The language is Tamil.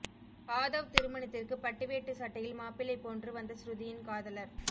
ஆதவ் திருமணத்திற்கு பட்டுவேட்டி சட்டையில் மாப்பிள்ளை போன்று வந்த ஸ்ருதியின் காதலர்